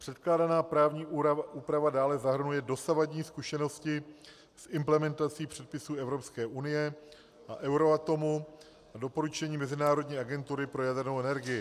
Předkládaná právní úprava dále zahrnuje dosavadní zkušenosti s implementací předpisů Evropské unie a Euratomu a doporučení Mezinárodní agentury pro jadernou energii.